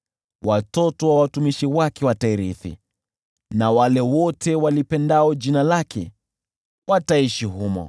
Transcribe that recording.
watoto wa watumishi wake watairithi na wale wote walipendao jina lake wataishi humo.